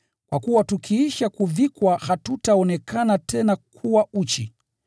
kwa kuwa tukiisha kuvikwa hatutaonekana tena kuwa uchi.